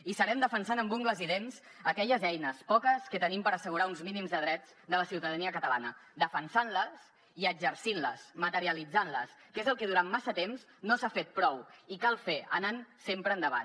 hi serem defensant amb ungles i dents aquelles eines poques que tenim per assegurar uns mínims de drets de la ciutadania catalana defensant les i exercint les materialitzant les que és el que durant massa temps no s’ha fet prou i cal fer anant sempre endavant